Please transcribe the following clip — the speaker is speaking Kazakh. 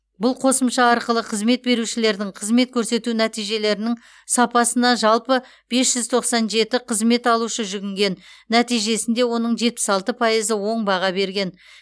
бұл қосымша арқылы қызмет берушілердің қызмет көрсету нәтижелерінің сапасына жалпы бес жүз тоқсан жеті қызмет алушы жүгінген нәтижесінде оның жетпіс алты пайызы оң баға берген